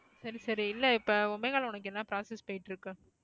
சரி சரி. இல்ல இப்போ ஒமேகால உனக்கு என்ன process போயிட்டு இருக்கு.